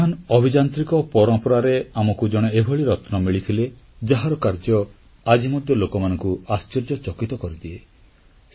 ଆମର ମହାନ୍ ଅଭିଯାନ୍ତ୍ରିକ ପରମ୍ପରାରେ ଆମକୁ ଜଣେ ଏଭଳି ରତ୍ନ ମିଳିଥିଲେ ଯାହାର କାର୍ଯ୍ୟ ଆଜି ମଧ୍ୟ ଲୋକମାନଙ୍କୁ ଆଶ୍ଚର୍ଯ୍ୟଚକିତ କରିଦିଏ